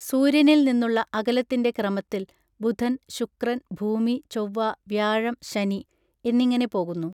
സൂര്യനിൽ നിന്നുള്ള അകലത്തിൻറെ ക്രമത്തിൽ ബുധൻ ശുക്രൻ ഭൂമി ചൊവ്വ വ്യാഴം ശനി എന്നിങ്ങനെ പോകുന്നു